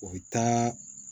O bɛ taa